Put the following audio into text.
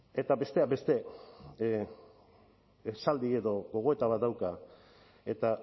eta besteak beste esaldi edo gogoeta bat dauka eta